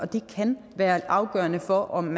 det kan være afgørende for om